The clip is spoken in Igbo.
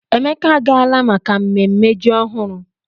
Emeka agaala maka mmemme ji ọhụrụ.